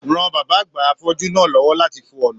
Ran bàbá àgbà afọju náà l'ọwọ lati fo ọna!